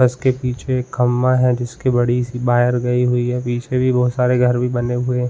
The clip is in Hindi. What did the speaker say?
बस के पीछे खम्बा है जिसकी बड़ी सी वायर गयी हुई है पीछे भी बहुत सारे घर भी बने हुए --